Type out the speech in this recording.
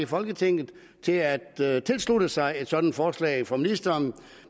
folketinget til at at tilslutte sig et sådant forslag fra ministeren